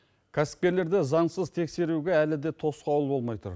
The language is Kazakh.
кәсіпкерлерді заңсыз тексеруге әлі де тосқауыл болмай тұр